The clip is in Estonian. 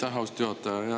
Aitäh, austatud juhataja!